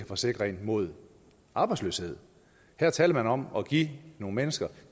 forsikre en mod arbejdsløshed her taler man om at give nogle mennesker